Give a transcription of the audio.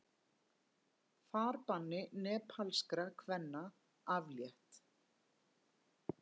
Farbanni nepalskra kvenna aflétt